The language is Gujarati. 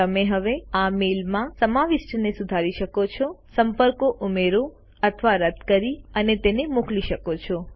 તમે હવે આ મેલ માં સમાવિષ્ટને સુધારી શકો છો સંપર્કો ઉમેરો અથવા રદ કરી અને તેને મોકલી શકો છો